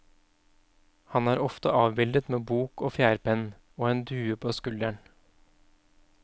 Han er ofte avbildet med bok og fjærpenn og en due på skulderen.